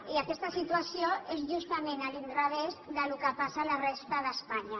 i aquesta situació és justament a l’inrevés del que passa a la resta d’espanya